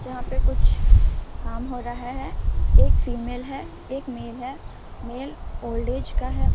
जहाँ पे कुछ काम हो रहा है एक फीमेल है एक मेल है मेल ओल्ड एज का है।